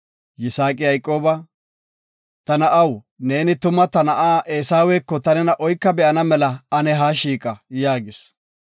Yisaaqi Yayqooba, “Ta na7aw, neeni tuma ta na7a Eesaweko ta nena oyka be7ana ane ha shiiqa” yaagis.